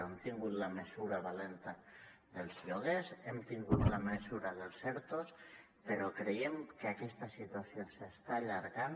hem tingut la mesura valenta dels lloguers hem tingut la mesura dels ertos però creiem que aquesta situació s’està allargant